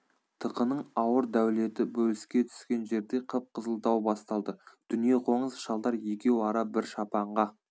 тықының ауыр дәулеті бөліске түскен жерде қып қызыл дау басталды дүниеқоңыз шалдар екеу ара бір шапанға